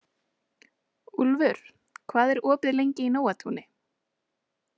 Úlfur, hvað er opið lengi í Nóatúni?